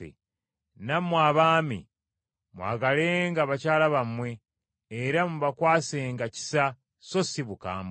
Nammwe abaami mwagalenga bakyala bammwe era mubakwasenga kisa so si bukambwe.